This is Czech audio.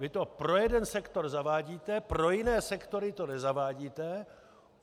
Vy to pro jeden sektor zavádíte, pro jiné sektory to nezavádíte.